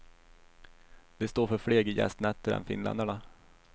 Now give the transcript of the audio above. De står för fler gästnätter än finländarna.